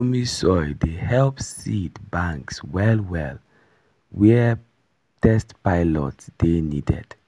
loamy soil dey help seed banks well well were test plot dey needed